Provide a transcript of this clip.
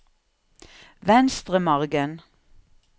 Venstremargen